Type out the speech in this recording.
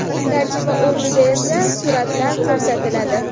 Tarjima o‘rnida esa suratlar ko‘rsatiladi.